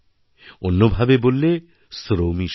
অন্যভাবে বললে শ্রমইশিব